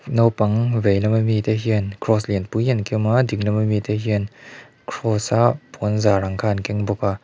naupang vei lama mi te hian cross lianpui an kem a ding lama mi te hian cross a puanzar ang kha an keng bawk a.